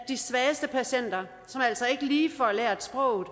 de svageste patienter som altså ikke lige får lært sproget